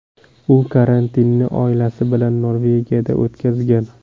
U karantinni oilasi bilan Norvegiyada o‘tkazgan .